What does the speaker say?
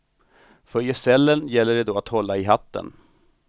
För gesällen gäller det då att hålla i hatten.